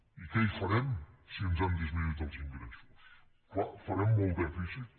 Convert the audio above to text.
i què hi farem si ens han disminuït els ingressos clar farem molt dèficit